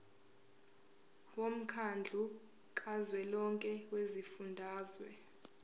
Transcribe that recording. womkhandlu kazwelonke wezifundazwe